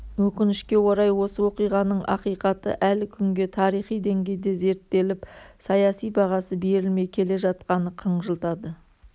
өкінішке орай осы оқиғаның ақиқаты әлі күнге тарихи деңгейде зерттеліп саяси бағасы берілмей келе жатқаны қынжылтады